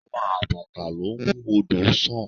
Ọlá àbàtà ló ń mú odò sàn